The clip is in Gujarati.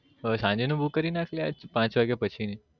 સાંજે નું book કરી નાખ લા પાંચ વાગ્યા પછી ની